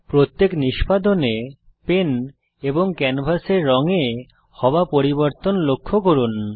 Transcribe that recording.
প্রত্যেক নিষ্পাদনে পেন এবং ক্যানভাসের রঙ এ হওয়া পরিবর্তন লক্ষ্য করুন